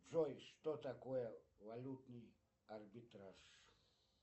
джой что такое валютный арбитраж